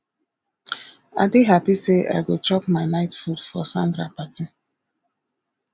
i dey happy say i go chop my night food for sandra party